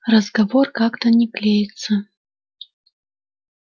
разговор как-то не клеится